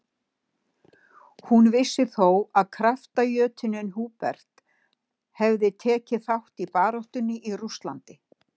Hún vissi þó að kraftajötunninn Hubert hefði tekið þátt í baráttunni í Rússlandi.